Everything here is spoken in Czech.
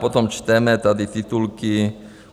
Potom čteme tady titulky